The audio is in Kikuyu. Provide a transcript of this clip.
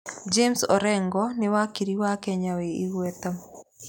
James Orengo nĩ wakiri wa Kenya wĩ igweta.